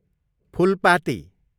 Phulpati